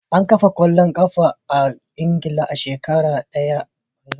An kafa kwallon kafa a Ingila a shekarar dubu daya da dari da tamanin da takwas.